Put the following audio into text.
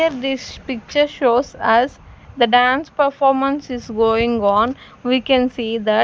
here this picture shows us the dance performance is going on we can see that--